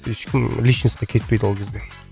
ешкім личностьқа кетпейді ол кезде